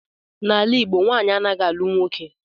N'ala Igbo nwaanyị anaghị alụ nwoke